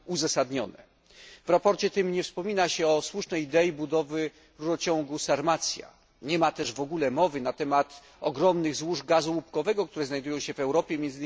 W sprawozdaniu tym nie wspomina się o słusznej idei budowy rurociągu Sarmacja, nie ma też w ogóle mowy na temat ogromnych złóż gazu łupkowego, które znajdują się w Europie, m.